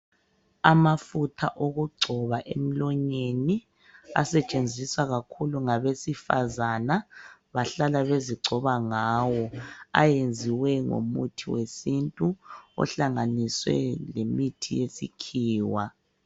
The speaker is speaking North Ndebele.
Amafutha okugcoba emlonyeni asetshenziswa kakhulu ngabesifazana bahlala bezigcoba ngawo ayenziwe ngomithi wesintu ohlanganiswe lemithi yesikhiwa.